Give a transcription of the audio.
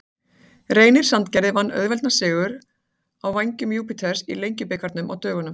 Reynir Sandgerði vann auðveldan sigur á Vængjum Júpíters í Lengjubikarnum á dögunum.